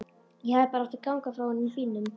Ég hefði bara átt að ganga frá honum í bílnum.